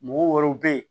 Mɔgɔ wɛrɛw be yen